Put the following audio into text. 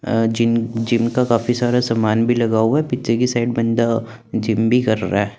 अः gym gym का काफी सारा सामान भी लगा हुआ है पीछे के साइड बंदा जिम भी कर रहा है।